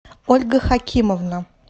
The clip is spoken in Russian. ольга хакимовна